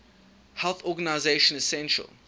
health organization essential